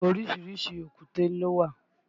Orísìírísìí èkúté ló wà